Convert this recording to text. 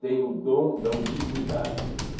tem o dom da ubiquidade.